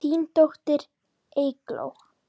Þín dóttir, Eygló.